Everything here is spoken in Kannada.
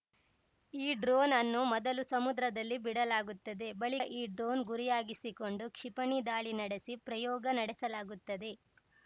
ಈ ಡ್ರೋನ್‌ ಅನ್ನು ಮೊದಲು ಸಮುದ್ರದಲ್ಲಿ ಬಿಡಲಾಗುತ್ತದೆ ಬಳಿಕ ಈ ಡ್ರೋನ್‌ ಗುರಿಯಾಗಿಸಿಕೊಂಡು ಕ್ಷಿಪಣಿ ದಾಳಿ ನಡೆಸಿ ಪ್ರಯೋಗ ನಡೆಸಲಾಗುತ್ತದೆ